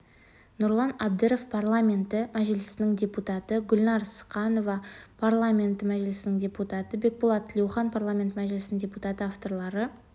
нұрлан әбдіров парламенті мәжілісінің депутаты гүлнәр ықсанова парламенті мәжілісінің депутаты бекболат тілеухан парламенті мәжілісінің депутаты авторлары